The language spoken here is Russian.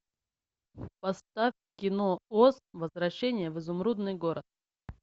поставь кино оз возвращение в изумрудный город